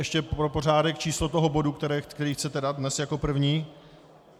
Ještě pro pořádek - číslo toho bodu, který chcete dát dnes jako první?